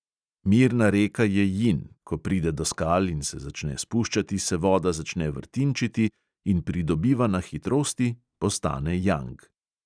Mirna reka je jin, ko pride do skal in se začne spuščati, se voda začne vrtinčiti in pridobiva na hitrosti, postane jang.